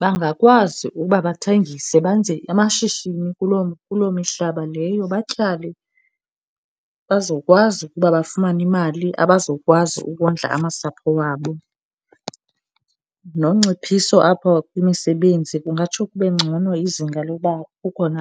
bangakwazi ukuba bathengise benze amashishini kuloo mihlaba leyo. Batyale, bazokwazi ukuba bafumane imali abazokwazi ukondla amasapho wabo, nonciphiso apho kwimisebenzi kungatsho kube ngcono, izinga lokuba kukhona.